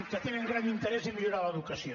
que tenen gran interès a millorar l’educació